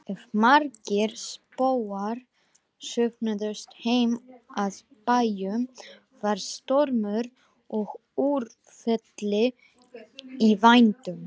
Ef margir spóar söfnuðust heim að bæjum var stormur og úrfelli í vændum.